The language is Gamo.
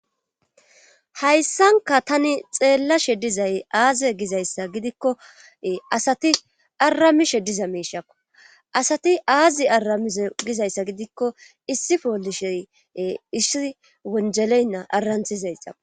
hayssanka tani xeellashe dizay aaze gizayssa gidikko asati arammishe diza miishakko asati aazi aramize gizayssa gidikko issi poolishey issi wonjeleynna aranthizayxao